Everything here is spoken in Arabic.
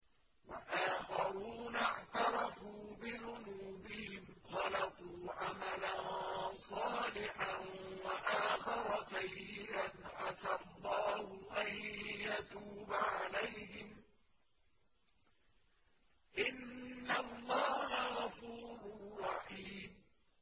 وَآخَرُونَ اعْتَرَفُوا بِذُنُوبِهِمْ خَلَطُوا عَمَلًا صَالِحًا وَآخَرَ سَيِّئًا عَسَى اللَّهُ أَن يَتُوبَ عَلَيْهِمْ ۚ إِنَّ اللَّهَ غَفُورٌ رَّحِيمٌ